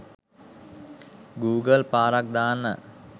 Google පාරක් දාන්න.